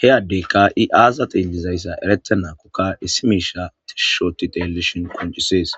heyaddeykka i aazata illizayssa erete naakokka issi miisha tishushooti telelishon qoncisees